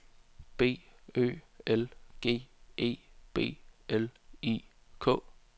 B Ø L G E B L I K